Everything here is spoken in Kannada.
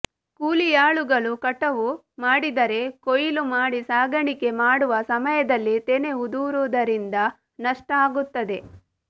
ಕೂಲಿಯಾಳುಗಳು ಕಟಾವು ಮಾಡಿದರೆ ಕೊಯಿಲು ಮಾಡಿ ಸಾಗಾಣಿಕೆ ಮಾಡುವ ಸಮಯದಲ್ಲಿ ತೆನೆ ಉದುರುವುದರಿಂದ ನಷ್ಟ ಆಗುತ್ತದೆ